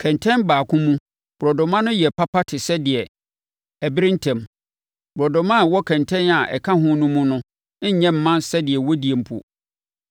Kɛntɛn baako mu borɔdɔma no yɛ papa te sɛ deɛ ɛbere ntɛm; borɔdɔma a ɛwɔ kɛntɛn a ɛka ho no mu no nyɛ mma sɛdeɛ wɔdie mpo.